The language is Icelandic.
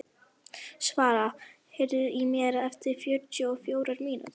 Svala, heyrðu í mér eftir fjörutíu og fjórar mínútur.